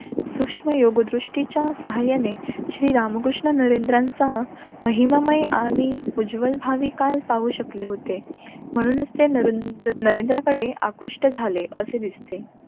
सूक्ष्म योग्य दृष्टीच्या साहाय्याने श्री रामकृष्ण नरेंद्र यांचा माहीममय आणि उज्ज्वल भावी काळ पाहू शकले होते. म्हणूनच ते नरेंद्रकडे आकृष्ट झाले असे दिसते.